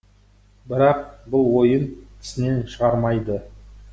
бірақ бұл ойын тісінен шығармайды